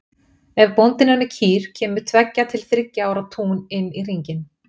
Ef bóndinn er með kýr kemur tveggja til þriggja ára tún inn í hringinn.